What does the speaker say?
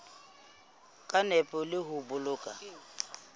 ka nepo le ho boloka